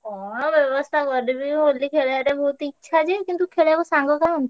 କଣ ବ୍ୟବସ୍ତା କରିବି ହୋଲି ଖେଳିବାରେ ବହୁତ ଇଛା ଯେ କିନ୍ତୁ ଖେଳିବାକୁ ସାଙ୍ଗ କାହାନ୍ତି?